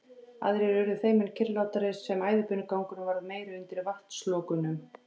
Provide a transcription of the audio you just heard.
Aðrir urðu þeim mun kyrrlátari sem æðibunugangurinn varð meiri undir vatnslokunum.